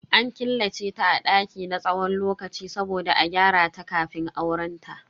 An killace ta a daki na tsawon lokaci saboda a gyarata kafin aurenta.